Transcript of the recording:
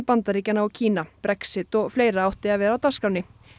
Bandaríkjanna og Kína Brexit og fleira átti að vera á dagskránni